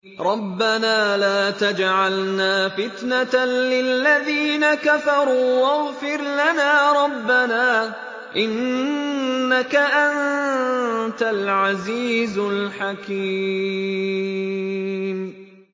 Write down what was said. رَبَّنَا لَا تَجْعَلْنَا فِتْنَةً لِّلَّذِينَ كَفَرُوا وَاغْفِرْ لَنَا رَبَّنَا ۖ إِنَّكَ أَنتَ الْعَزِيزُ الْحَكِيمُ